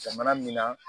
Jamana min na